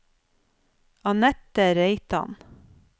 Anette Reitan